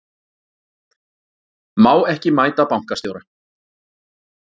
Má ekki mæta bankastjóra